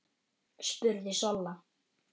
spurði Solla.